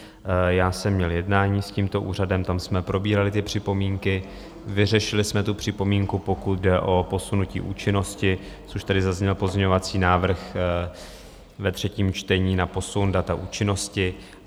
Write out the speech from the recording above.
Já jsem měl jednání s tímto úřadem, tam jsme probírali ty připomínky, vyřešili jsme tu připomínku, pokud jde o posunutí účinnosti, což tady zazněl pozměňovací návrh ve třetím čtení na posun data účinnosti.